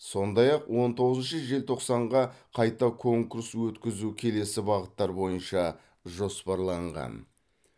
сондай ақ он тоғызыншы желтоқсанға қайта конкурс өткізу келесі бағыттар бойынша жоспарланған